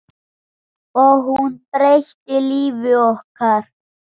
Og hún breytti lífi okkar.